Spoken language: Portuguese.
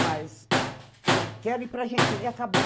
Mas eu quero ir para Argentina e acabou.